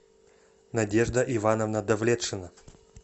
надежда ивановна давлетшина